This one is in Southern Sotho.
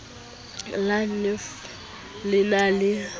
la nef le na le